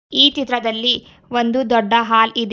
ಈ ಚಿತ್ರದಲ್ಲಿ ಒಂದು ದೊಡ್ಡ ಹಾಲ್ ಇದೆ.